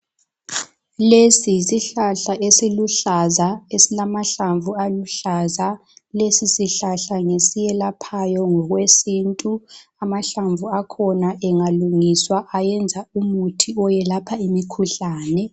Lesi yisihlahla esiluhlaza esilamahlamvu aluhlaza, lesi sihlala ngesiyelaphayo ngokwesintu. Amahlamvu akhona ingalungiswa ayenza umuthi oyelapha imikhuhlane.